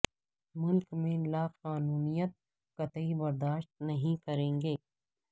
ملک میں لا قانونیت قطعی برداشت نہیں کریں گے